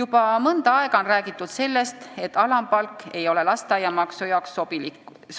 Juba mõnda aega on räägitud sellest, et alampalk ei ole lasteaiatasu jaoks